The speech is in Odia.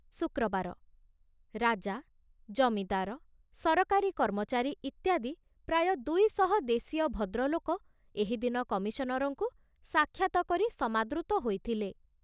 ଶୁକ୍ରବାର, ରାଜା, ଜମିଦାର, ସରକାରୀ କର୍ମଚାରୀ ଇତ୍ୟାଦି ପ୍ରାୟ ଦୁଇଶହ ଦେଶୀୟ ଭଦ୍ରଲୋକ ଏହିଦିନ କମିଶନରଙ୍କୁ ସାକ୍ଷାତ କରି ସମାଦୃତ ହୋଇଥିଲେ।